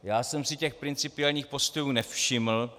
Já jsem si těch principiálních postojů nevšiml.